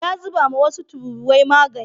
Ya zubawa wasu tururuwai magani.